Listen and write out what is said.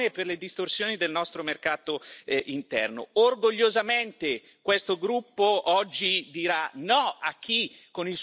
Orgogliosamente questo gruppo oggi dirà no a chi, con il suo immobilismo, vuole davvero distruggere l'Europa.